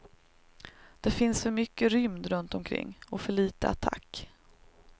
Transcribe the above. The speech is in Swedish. Det finns för mycket rymd runt omkring, och för lite attack.